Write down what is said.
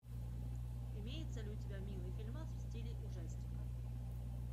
имеется ли у тебя милый фильмас в стиле ужастика